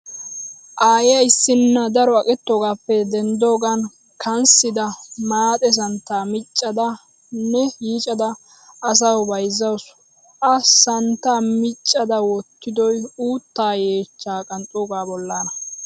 Aaya issinna daro aqettoogaappe denddaagan kanssida maaxe santtaa miiccada nne yiicada asawu bayzzawusu. A santtaa miccada wottidoy uuttaa yeechchaa qanxxoogaa bollaana.